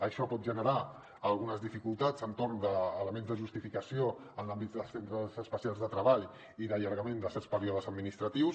això pot generar algunes dificultats entorn d’elements de justificació en l’àmbit dels centres especials de treball i d’allargament de certs períodes administratius